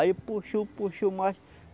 Aí puxou, puxou mais.